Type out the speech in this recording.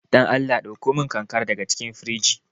Dan Allah ɗakkomin ƙanƙara daga cikin firji.